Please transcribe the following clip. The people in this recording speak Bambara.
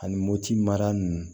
Ani motimara ninnu